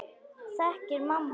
Þekkir mamma hann?